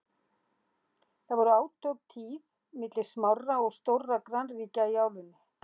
þá voru átök tíð milli smárra og stórra grannríkja í álfunni